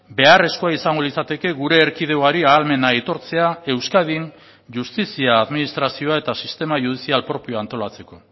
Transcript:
beharrezkoa izango litzateke gure erkidegoari ahalmena aitortzea euskadin justizia administrazioa eta sistema judizial propioa antolatzeko